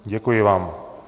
Děkuji vám.